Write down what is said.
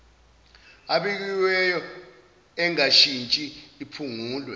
ebekiweyo engashintshi iphungulwe